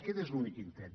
aquest és l’únic intent